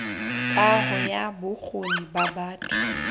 kaho ya bokgoni ba batho